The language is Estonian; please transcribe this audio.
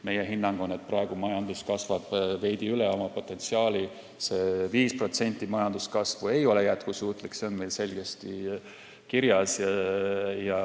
Meie hinnang on, et praegu kasvab majandus veidi üle oma potentsiaali – 5% majanduskasvu ei ole jätkusuutlik, see on meil selgesti kirjas.